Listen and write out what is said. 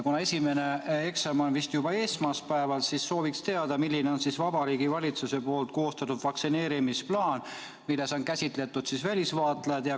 Kuna esimene eksam on vist juba esmaspäeval, siis sooviks teada, milline on Vabariigi Valitsuse koostatud vaktsineerimisplaan, milles on käsitletud ka välisvaatlejaid.